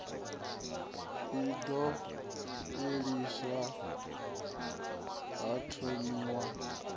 i ḓo fheliswa ha thomiwa